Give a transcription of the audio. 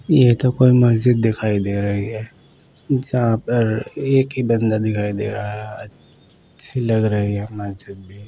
ये एक ऊपर मस्जिद दिखाई दे रही है जहा पर एक ही बंदा दिखाई दे रहा है अच्छी लग रही है मस्जिद भी।